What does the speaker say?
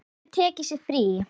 Aldrei tekið sér frí.